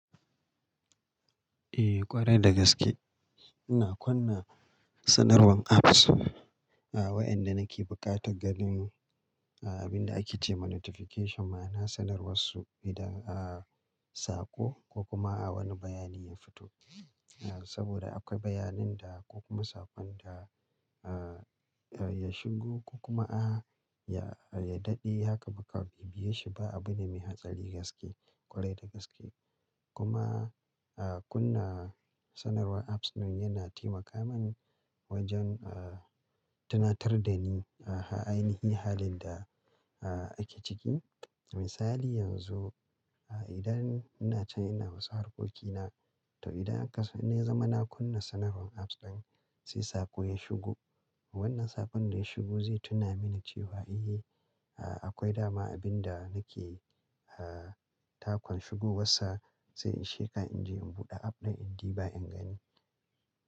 Eh ƙwarai dagaske. Ina kunna sanarwan apps, wayanda nake buƙatan ganin abinda ake ce ma notification ma na sanarwar su idan a sako ko kuma a wani bayani ya fito. Saboda akwai bayanin da ko kuma sakon da ya shigo ko kuma a ya daɗe haka baƙa biye shi ba abune mai hatsari gaske, ƙwarai dagaske. Kuma kunna sanarwar apps nan yana taimaka man wajen tunatar da ni a ainihi halin da ake ciki. Misali yanzu idan ina can ina wasu harkokina to idan aka sai na yi zama na kunna sanarwan apps ɗin sai sako ya shigo. Wannan sakon da ya shigo zai tuna mini cewa eh akwai dama abinda nake takon shigo wasu sai in sheka in je in buɗe app ɗin in diba in gani.